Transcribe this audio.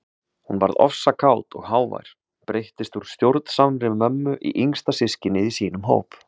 Hún varð ofsakát og hávær, breyttist úr stjórnsamri mömmu í yngsta systkinið í sínum hóp.